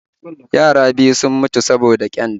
Yara biyu sun mutu saboda ƙyanda